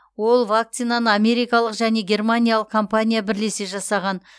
ол вакцинаны америкалық және германиялық компания бірлесе жасаған